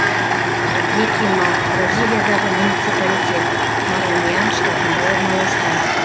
бекиман бразилиядағы муниципалитет мараньян штатында орналасқан